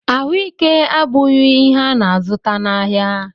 Ahụike abụghị ihe a na-azụta n'ahịa